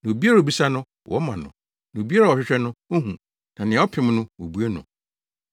Na obiara a obisa no, wɔma no; na obiara a ɔhwehwɛ no, ohu; na nea ɔpem no, wobue no.